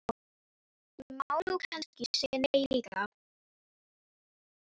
Ég má nú kannski segja nei líka.